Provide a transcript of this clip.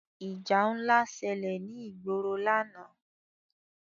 Ìjà ńlá ṣẹlẹ̀ ní ìgboro lánàá.